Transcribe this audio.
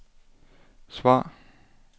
svar